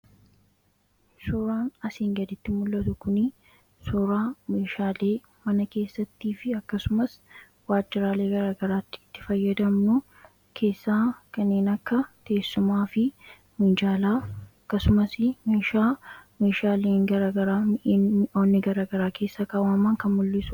suuraan asiin gaditti mul'atu kun suuraa meeshaalee mana keessattii fi akkasumas waajjiraalee garagaraatti itti fayyadamnu keessaa kanneen akka teessumaa fi munjaalaa akkasumas meeshaa meeshaaleen garagaraa mi'iin onni garagaraa keessaa kaawamaan kan mul'isu..